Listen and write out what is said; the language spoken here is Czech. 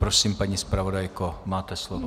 Prosím, paní zpravodajko, máte slovo.